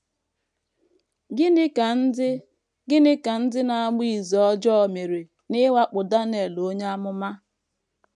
Gịnị ka ndị Gịnị ka ndị na - agba izu ọjọọ mere n’ịwakpo Daniel onye amụma?